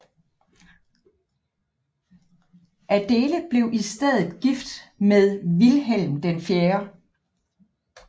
Adéle blev i stedet gift sig med Vilhelm 4